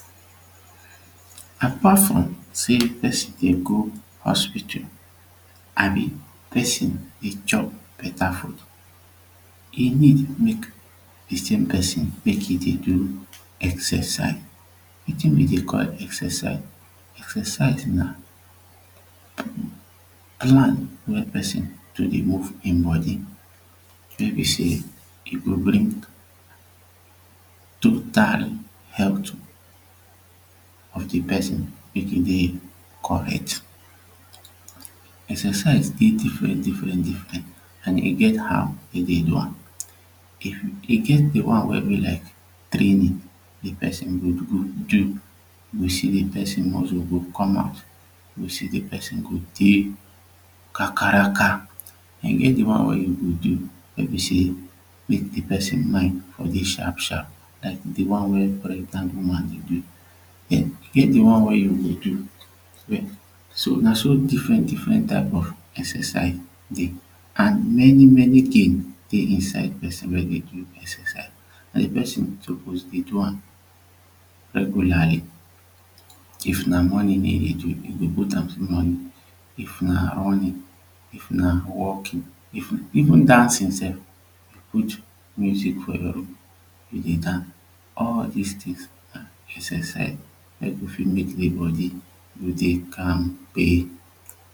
Apart from saying person dey go hospital abi person dey chop beta food e need make the same person mek e dey do exercise wetin we dey call exercise exercise na plan wey person to dey move him body wey be say e go bring total health of de person mek e dey correct exercise dey different different an e get how dem dey do am e get de one wey be like training de person go dey do you go see de person muscle go come out you go see de person go dey kakaraka and e get de one wey you go do wey be say mek de person mine for dey sharp sharp like de one wey pregnant woman dey do dem e get de one wey you go do so na so different different type of exercise dey an many many gain dey inside person wey dey do exercise an de person suppose dey do am regularly if na morning dey dey do you go put am for morning if na running if na walking even dancing sef put music for your ear go dey dance all dis tin na exercise wey go fit mek de body to dey kampe